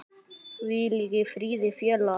Hvíl í friði félagi.